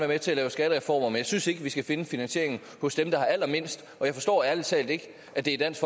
med til at lave skattereformer men jeg synes ikke at vi skal finde finansieringen hos dem der har allermindst jeg forstår ærlig talt ikke at det er dansk